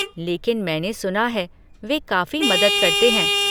लेकिन मैंने सुना है वे काफ़ी मदद करते हैं।